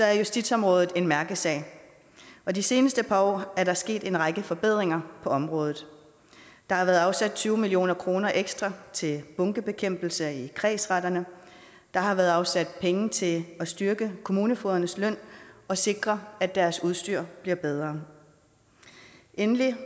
er justitsområdet en mærkesag og de seneste par år er der sket en række forbedringer på området der har været afsat tyve million kroner ekstra til bunkebekæmpelse i kredsretterne der har været afsat penge til at styrke kommunefogedernes løn og sikre at deres udstyr bliver bedre endelig